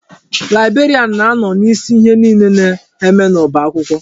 Laibrarian na-anọ n'isi ihe niile na-eme n'ọba akwụkwọ.